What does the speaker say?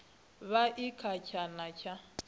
vha i kha tshana tsha